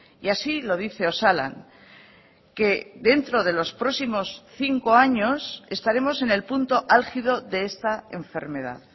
y así lo dice osalan que dentro de los próximos cinco años estaremos en el punto álgido de esta enfermedad